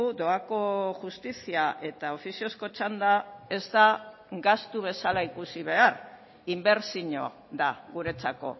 doako justizia eta ofiziozko txanda ez da gastu bezala ikusi behar inbertsio da guretzako